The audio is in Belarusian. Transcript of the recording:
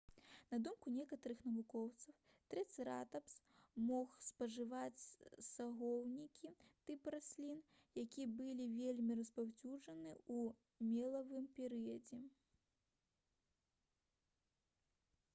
на думку некаторых навукоўцаў трыцэратапс мог спажываць сагоўнікі тып раслін якія былі вельмі распаўсюджаны ў мелавым перыядзе